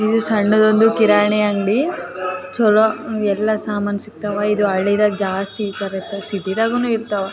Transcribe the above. ಇದು ಸಣ್ಣದೊಂದು ಕಿರಾಣಿ ಅಂಗಡಿ ಚಲೋ ಎಲ್ಲ ಸಾಮಾನು ಸಿಗ್ತವು ಇದು ಹಳ್ಳಿದಾಗೆ ಜಾಸ್ತಿ ಇರ್ತವು ಸಿಟಿ ದಾಗುನು ಇರ್ತಾವ .